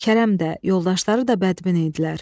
Kərəm də, yoldaşları da bədbin idilər.